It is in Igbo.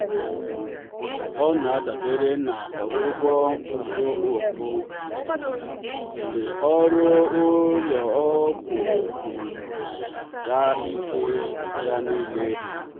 ọ na-adabere na ọgwụgwọ uzuoku ọdịnala mgbe ọrụ ụlọ ọgwụ um nara ya ike ya nile.